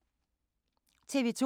TV 2